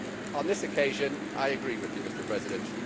On this occasion I agree with you, Mr President.